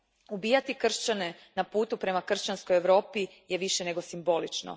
Ubijati kršćane na putu prema kršćanskoj Europi je više nego simbolično.